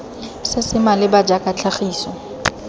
se se maleba jaaka tlhagiso